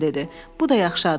Bu da yaxşı addır.